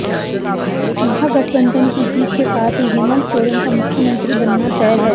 महागठबंधन की जीत के साथ ही हेमंत सोरेन का मुख्यमंत्री बनना तय है